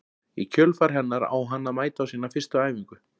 Í kjölfar hennar á hann að mæta á sína fyrstu æfingu.